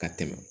Ka tɛmɛ